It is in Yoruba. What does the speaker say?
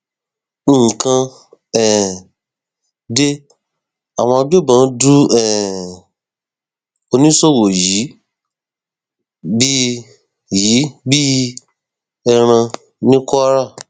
nǹkan um de àwọn agbébọn du um oníṣòwò yìí bíi yìí bíi ẹran ní kwara